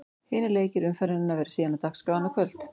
Hinir leikir umferðarinnar verða síðan á dagskrá annað kvöld.